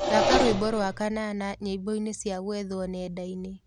Thaka rwĩmbo rwa kanana nyĩmboĩnĩ cĩa gwethwo nendaini